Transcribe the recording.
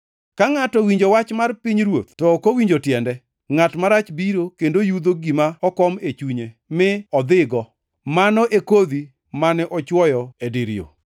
Ka ngʼato owinjo wach mar pinyruoth to ok owinjo tiende, ngʼat marach biro kendo yudho gima okom e chunye mi dhigo. Mano e kodhi mane ochwoyo e dir yo.